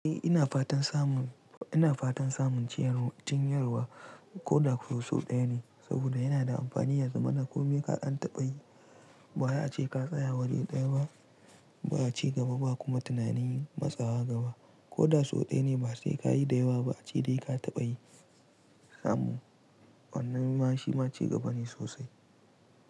Eh ina fatan samun, ina fatan samun jinyarwa, jinyarwa. Koda kuwa sau ɗaya ne saboda yana da amfani yaza mana. Komi ka ɗan taɓa yi bawai a ce ka tsaya wuri ɗaya ba, ba ci gaba ba kuma tunanin matsawa gaba. Koda sau ɗaya ne ma sai ka yi da yawa ba a ce dai ka taɓa yi. Samu, wannan ma shi ma ci gaba ne sosai.